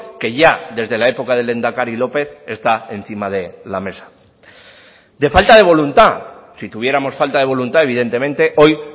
que ya desde la época del lehendakari lópez está encima de la mesa de falta de voluntad sí tuviéramos falta de voluntad evidentemente hoy